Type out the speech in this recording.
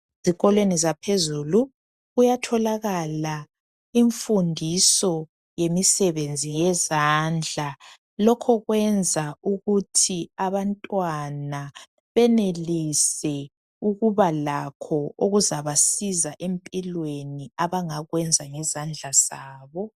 Ezikolweni zaphezulu kuyatholakala imfundiso yemisebenzi yezandla, lokho kwenza ukuthi abantwana benelise ukubalakho ukuzabasiza empilweni abangakwenza ngezandla zabo.